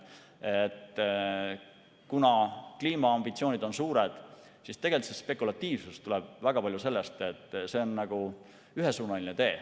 Kuna kliimaambitsioonid on suured, siis see spekulatiivsus tuleb väga palju sellest, et see on nagu ühesuunaline tee.